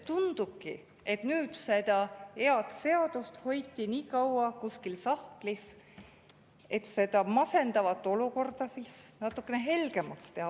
Tundubki, et head seadust hoiti nii kaua kuskil sahtlis, et seda masendavat olukorda natukene helgemaks teha.